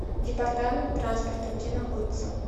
департамент транспорта где находится